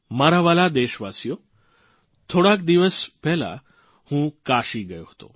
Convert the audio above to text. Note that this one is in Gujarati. મારા વ્હાલા દેશવાસીઓ થોડા દિવસ પહેલાં હું કાશી ગયો હતો